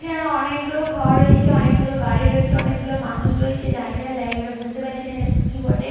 এখানে অনেকগুলো ঘর রয়েছে। অনেকগুলো গাড়ি রয়েছে। অনেকগুলো মানুষ রয়েছে। জানিনা জায়গাটা বুঝতে পারছি না এটা কি বটে।